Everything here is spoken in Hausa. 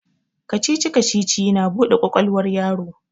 Kacici-kacici na bude kwakwalwar yaro